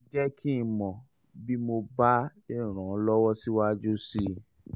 jẹ́ kí n um mọ̀ bí mo bá um lè ràn um ọ́ lọ́wọ́ síwájú sí i